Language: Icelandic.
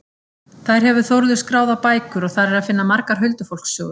Þær hefur Þórður skráð á bækur og þar er að finna margar huldufólkssögur.